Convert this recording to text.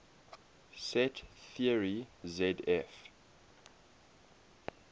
set theory zf